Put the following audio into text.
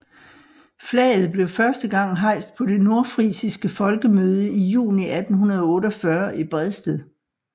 Flaget blev første gang hejst på det nordfrisiske folkemøde i juni 1848 i Bredsted